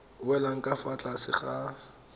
welang ka fa tlase ga